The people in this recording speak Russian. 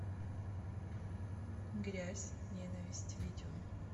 грязь ненависть видео